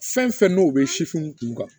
Fɛn fɛn n'o bɛ sifinw kun kan